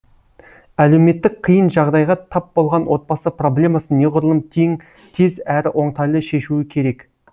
әлеуметтік қиын жағдайға тап болған отбасы проблемасын неғұрлым тез әрі оңтайлы шешуі керек